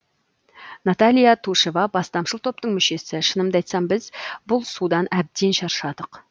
наталья тушева бастамашыл топтың мүшесі шынымды айтсам біз бұл судан әбден шаршадық